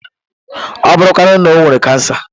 Ọ bụrụ kwanu na o nwere kansa?